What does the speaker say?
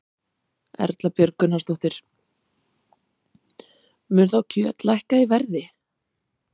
Erla Björg Gunnarsdóttir: Mun þá kjöt lækka í verði?